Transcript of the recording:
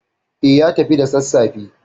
Eh, ya tafi da sassafe.